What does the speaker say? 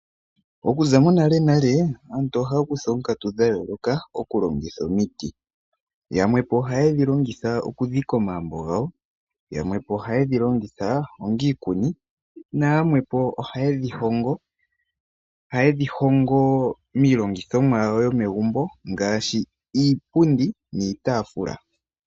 Okuza monale nale aantu oyehole okutsa oonkatu dha yooloka okulongitha omiti. Yamwe ohayedhi longitha okudhika omagumbo gawo, yamwe ohayedhi longitha onga iikuni nayamwe ohayedhi hongo miilongithomwa yomegumbo ngaashi iipundi niitafula.